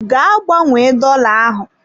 Gaa gbanwee dola ahụ!